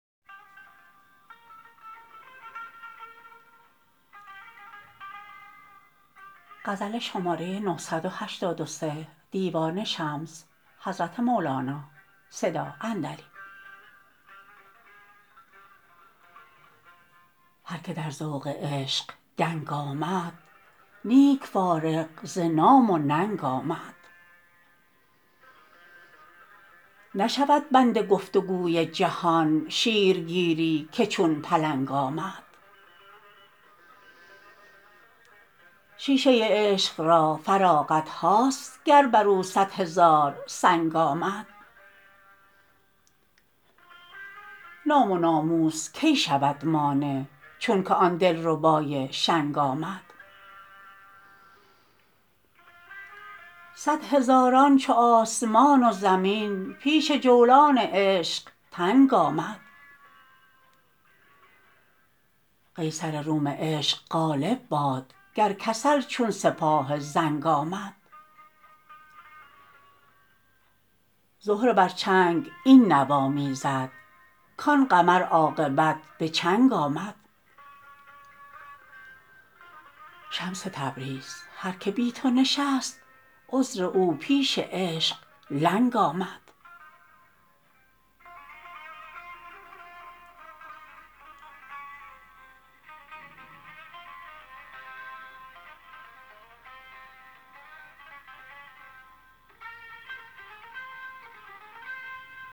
هر کی در ذوق عشق دنگ آمد نیک فارغ ز نام و ننگ آمد نشود بند گفت و گوی جهان شیرگیر ی که چون پلنگ آمد شیشه عشق را فراغت ها ست گر بر او صد هزار سنگ آمد نام و ناموس کی شود مانع چونکه آن دلربا ی شنگ آمد صد هزاران چو آسمان و زمین پیش جولان عشق تنگ آمد قیصر روم عشق غالب باد گر کسل چون سپاه زنگ آمد زهره بر چنگ این نوا می زد کان قمر عاقبت به چنگ آمد شمس تبریز هر کی بی تو نشست عذر او پیش عشق لنگ آمد